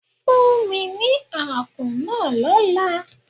Fún mi ní àkún náà lọ́la.